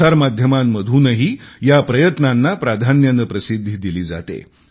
प्रसारमाध्यमांतूनही या प्रयत्नांना प्राधान्याने प्रसिद्धी दिली जाते